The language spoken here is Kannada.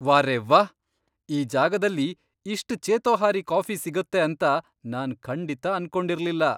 ವಾರೆವ್ಹಾ! ಈ ಜಾಗದಲ್ಲಿ ಇಷ್ಟ್ ಚೇತೋಹಾರಿ ಕಾಫಿ ಸಿಗತ್ತೆ ಅಂತ ನಾನ್ ಖಂಡಿತ ಅನ್ಕೊಂಡಿರ್ಲಿಲ್ಲ.